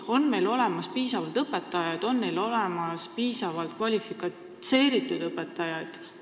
Kas meil on olemas piisavalt õpetajaid ja piisavalt kvalifitseeritud õpetajad?